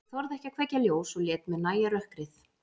Ég þorði ekki að kveikja ljós og lét mér nægja rökkrið.